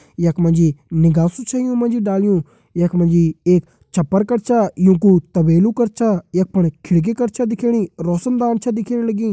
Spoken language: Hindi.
यक मजी निगासु छ यू मजी डालयू यक मजी एक छप्पर कर छा यू कु तबेलु कर छा यक फण खिड़की कर छा दिखेणी रोशनदान छ दिखेण लगीं।